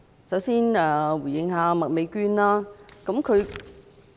首先，我想回應麥美娟議員。